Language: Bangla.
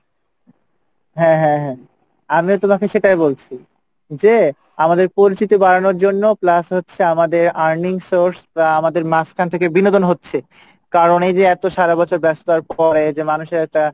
হ্যাঁ হ্যাঁ হ্যাঁ আমিও তোমাকে সেটাই বলছি যে আমাদের পরিচিতি বাড়ানোর জন্য plus হচ্ছে আমাদের earning source বা আমাদের মাঝখান থেকে বিনোদন হচ্ছে কারণ এইযে এত সারাবছর ব্যস্ততার পরে যে মানুষের একটা,